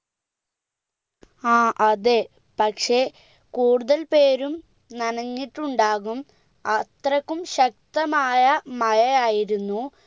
ആ അതെ പക്ഷെ കൂടുതൽ പേരും നഞ്ഞിട്ടുണ്ടാകും അത്രക്കും ശക്തമായ മഴയായിരുന്നു